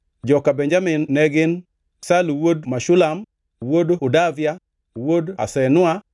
Joka Benjamin ne gin: Salu wuod Meshulam, wuod Hodavia, wuod Hasenua;